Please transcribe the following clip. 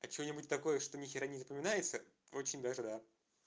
а что-нибудь такое что нехера не запоминается очень даже да